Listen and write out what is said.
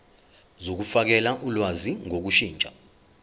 zokufakela ulwazi ngokushintsha